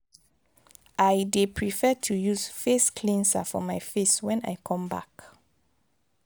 i dey prefer to use face cleanser for my face wen i come back.